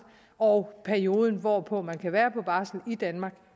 og perioden hvorpå man kan være på barsel i danmark